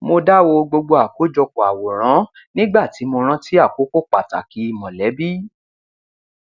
mo dá wo gbogbo àkójọpọ àwòrán nígbà tí mo rántí àkókò pàtàkì mọlẹbí